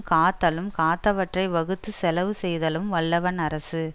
காத்தலும் காத்தவற்றை வகுத்துச் செலவு செய்தலும் வல்லவன் அரசு